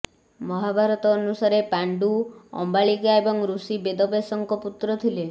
ମହାଭାରତ ଅନୁସାରେ ପାଣ଼୍ଡୁ ଅମ୍ବାଳିକା ଏବଂ ଋଷି ବେଦବ୍ୟାସଙ୍କ ପୁତ୍ର ଥିଲେ